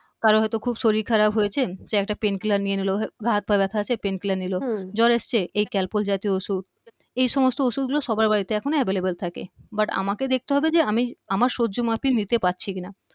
কারও হয়তো খুব শরীর খারাপ হয়েছে সে একটা pain killer নিয়ে নিল গায়ে হাত পায়ে আছে pain killer নিল হম জ্বর এসছে এই calpo জাতীয় ঔষধ এই সমস্ত ঔষধ গুলো সবার বাড়িতে এখন available থাকে but আমাকে দেখতে হবে যে আমি আমার সহ্য মাফিক নিতে পারছি কিনা